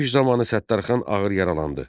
Döyüş zamanı Səttarxan ağır yaralandı.